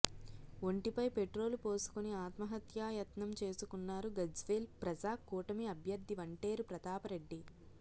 ఒంటి పై పెట్రోల్ పోసుకొని ఆత్మహత్యా యత్నం చేసుకున్నారు గజ్వేల్ ప్రజాకూటమి అభ్యర్ధి వంటేరు ప్రతాప్ రెడ్డి